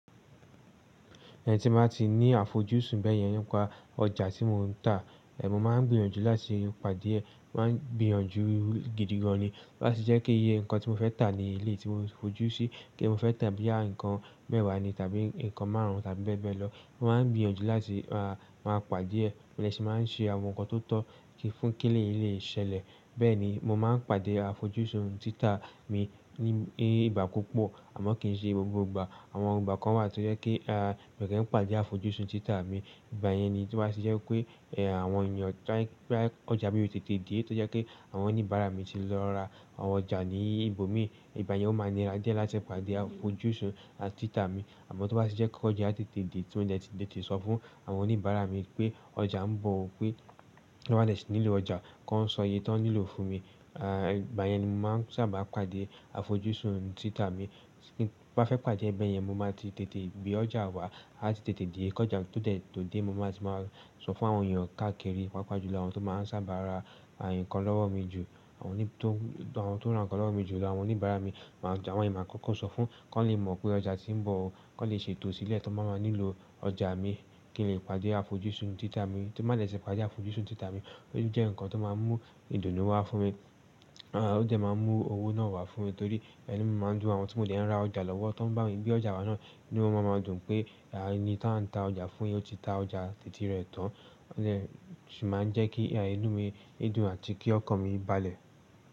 Ẹhn tí n ba ti ní àfojúsùn bẹ́ẹ̀ yẹn, nípa ọjà tí mò ń tà, mo máa ń gbìyànjú láti pàdé e, mo má ń gbìyànjú gidigan ni. Láti jẹ́ kí iye nǹkan tí mo fẹ́ tà ní eléeyi tí mo fojú sí, ti mo fẹ́ tà boyà ǹkan mẹ́wàá ni tàbí nǹkan márùn-ún tàbí bẹ́ẹ̀ bẹ́ẹ̀ lọ, mo má ń gbìyànjú láti máa pàdé ẹ, mo dẹ́ sì máa ń ṣe àwọn nǹkan tó tọ́ fún kí eleéyíi lè ṣẹlẹ̀. Bẹ́ẹ̀ ni, mo máa ń pàdé àfojúsùn títa mi ní ìgbà púpọ̀ àmọ́ kì í ṣe gbogbo ìgbà. Àwọn ìgbà kan wà tó jẹ́ pe ah, mi kii pàdé àfojúsùn títa mi. Ìgbà yẹn ni tí o bá tì jẹ́ wi pé, àwọn èèyàn to ba je ọjà mi o tètè dé, tó jẹ́ pé àwọn oníbàárà mi ti lọ ra àwọn ọjà ní ibòmí, ìgbà yẹn ó máa ni ra die láti pàdé àfojúsùn àti títa mi. Àmọ́ tó bá tì jẹ́ pẹ́ oja tètè dé, tí mò ń dẹ̀ tí lè sọ fún àwọn oníbàárà mi pé ọjà ń bọ̀ o, pé ti wọ́n ba dè ṣì nílò ọjà, ki wón sọ iye tó ń nílò fún mi. Ìgbà yẹn ni mò máa ń sábà pàdé àfojúsùn títa mi. Bí n bá fẹ́ pàdé ẹ bẹ̀ yẹn, mo máa ti tètè gbé ọjà wá, á ti tètè dé. Ki oja to dẹ̀ tó dé, mo má ti máa sọ fún àwọn èèyàn káàkiri, pàápàá jù lọ àwọn tó máa ń sábà ra ǹkan lọ́wọ́ mi jù. Awon to àwọn tó n ra nǹkan lọ́wọ́ mi jù lọ àwọn oníbàárà mi. Àwọn iyèn máa kọ́kọ́ sọ fún, kó lè mọ̀ pé ọjà tí ń bọ̀ o, kó lè ṣètò sílẹ̀ tó n ba má nílò ọjà mi, kí n lè pàdé àfojúsùn títa mi. Tí n ba dè tì pàdé àfojúsùn títa mi, ó jẹ́ nǹkan tó máa ń mú ìdùnnú wá fún mi. Ó dẹ̀ máa ń mú owó náà wá fún mi torí inu mi máa ń dùn, àwọn tí mò ń dè ń ra ọjà lọ́wọ́ tó ń bá mi gbé ọjà wa náà, inu wọ́n máa ma dùn pé ení tí à ń ta ọjà fún yen, ó ti ta ọjà titi rẹ̀ tán. Ó dè ṣì máa ń jẹ́ kí inu mí dùn àti kí ọkàn mi balẹ̀.